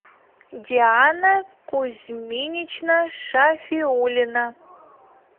диана кузьминична шафиулина